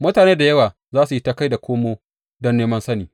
Mutane da yawa za su yi ta kai komo don neman sani.